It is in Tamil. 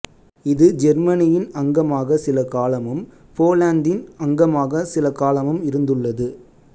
இது ஜெர்மனியின் அங்கமாக சில காலமும் போலந்தின் அங்கமாக சிலகாலமும் இருந்துள்ளது